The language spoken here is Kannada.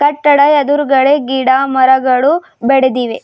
ಕಟ್ಟಡ ಎದ್ರುಗಡೆ ಗಿಡ ಮರಗಳು ಬೆಳದಿವೆ.